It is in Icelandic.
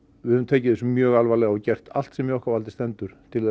við höfum tekið þessu mjög alvarlega og gert allt sem í okkar valdi stendur til